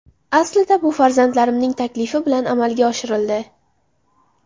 Aslida bu farzandlarimning taklifi bilan amalga oshirildi.